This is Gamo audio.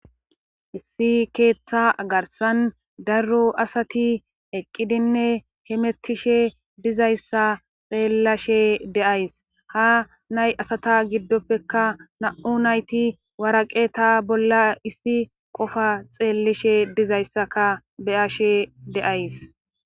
Issi keeththa garsan daro asati eqqidinne hemetishe dizayssa xeellashe deays ha nay asata giddoppeka na7u nayti waraqe ta bolla issi qofa xeellishe dizayssaka beyashe de'ays.